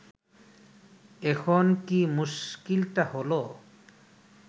এখন কি মুশকিলটা হল